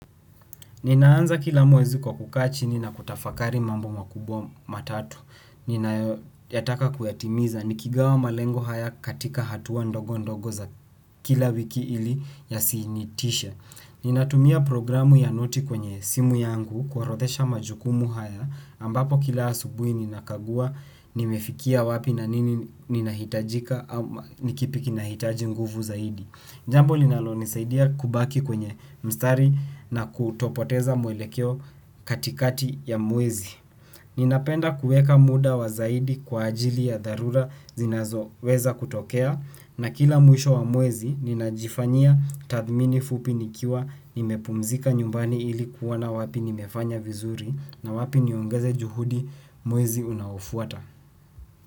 Ninaanza kila mwezi kwa kukaa chini na kutafakari mambo makubwa matatu. Ninayotaka kuyatimiza, nikigawa malengo haya katika hatua ndogo ndogo za kila wiki ili yasinitishe. Ninatumia programu ya noti kwenye simu yangu, kuorodhesha majukumu haya, ambapo kila asubuhi ninakagua, nimefikia wapi na nini ninahitajika, ni kipi kinahitaji nguvu zaidi. Njambo linalonisaidia kubaki kwenye mstari na kutopoteza mwelekeo katikati ya mwezi. Ninapenda kuweka muda wa zaidi kwa ajili ya dharura zinazoweza kutokea na kila mwisho wa mwezi ninajifanya tathmini fupi nikiwa nimepumzika nyumbani ilikuwa na wapi nimefanya vizuri na wapi niongeze juhudi mwezi unaofuata.